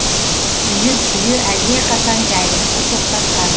үйір түйе әлдеқашан жайылысты тоқтатқан